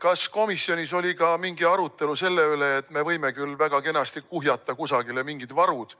Kas komisjonis oli ka arutelu selle üle, et me võime küll väga kenasti kuhjata kusagile mingid varud,